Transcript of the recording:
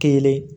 Kelen